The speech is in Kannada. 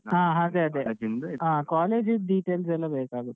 ಹ ಅದೆ ಅದೆ ಹ college ಇದ್ದು details ಎಲ್ಲ ಬೇಕಾಗುತ್ತೆ.